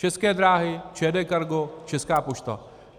České dráhy, ČD Cargo, Česká pošta.